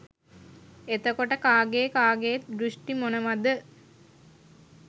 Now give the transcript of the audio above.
එතකොට කාගේ කාගේත් දෘෂ්ටි මොනවද